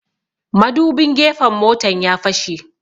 Madubin gefen motan ya fashe